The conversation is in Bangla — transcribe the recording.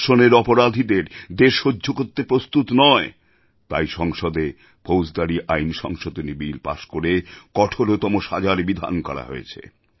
ধর্ষণের অপরাধীদের দেশ সহ্য করতে প্রস্তুত নয় তাই সংসদেফৌজদারী আইন সংশোধনী বিল পাস করে কঠোরতম সাজার বিধান করা হয়েছে